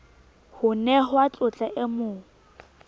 ho nehwa tlotla e mo